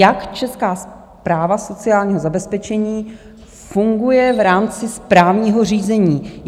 Jak Česká správa sociálního zabezpečení funguje v rámci správního řízení?